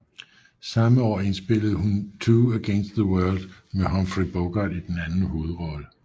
Samme år indspillede hun Two Against the World med Humphrey Bogart i en anden hovedrolle